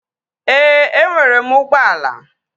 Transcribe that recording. Ee, enwere m ụgbọala